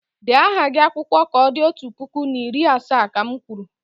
Dee aha gị n'akwụkwọ ka o di otu puku na iri asaa, ka m kwuru!